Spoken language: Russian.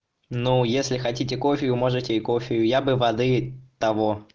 ну если хотите кофе вы можете и кофею я бы воды того